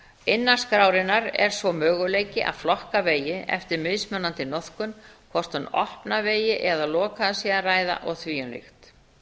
innan skrárinnar er svo möguleiki að flokka vegi eftir mismunandi notkun hvort um opna vegi eða lokaða sé að ræða og því um líkt